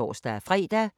DR P1